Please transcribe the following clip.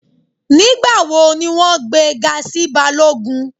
Nígbàwọ̀ ni wọn gbẹ̀ è ga sí bálọ́gùn?